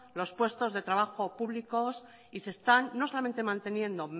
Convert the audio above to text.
los puestos de trabajo públicos y se están no solamente manteniendo